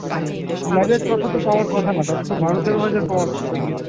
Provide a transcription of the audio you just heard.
তিন হাজার ছ'শো তো পাওয়ার কথা না তাদের তো বারো-তেরো হাজার পাওয়ার কথা মনে হয়।